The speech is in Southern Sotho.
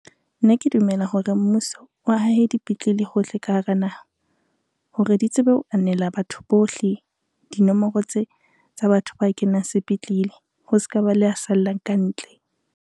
Nna ke dumela hore mmuso o hahe dipetlele hohle ka hara naha, hore di tsebe ho anela batho bohle, dinomoro tse tsa batho ba kenang sepetlele ho se ka ba le a sallang ka ntle.